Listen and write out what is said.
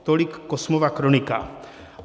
Tolik Kosmova kronika.